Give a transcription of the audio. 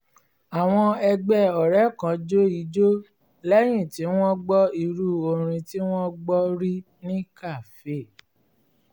àwọn ẹgbẹ́ ọrẹ kan jó ijó lẹ́yìn tí wọ́n gbọ́ irú orin tí wọ́n gbọ́ rí ní kafe